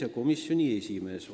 Hea komisjoni esimees!